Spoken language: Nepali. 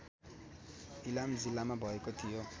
इलाम जिल्लामा भएको थियो